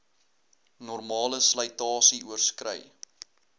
normale slytasie oorskrei